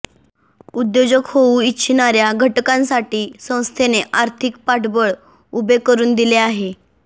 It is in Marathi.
उद्योजक होऊ इच्छिणाऱ्या घटकांसाठी संस्थेने आर्थिक पाठबळ उभे करून दिले आहे